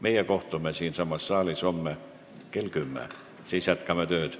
Meie kohtume siinsamas saalis homme kell 10 ja jätkame siis tööd.